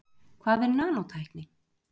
Hvað er nanótækni?